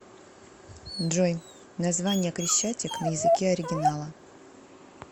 джой название крещатик на языке оригинала